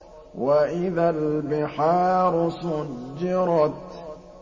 وَإِذَا الْبِحَارُ سُجِّرَتْ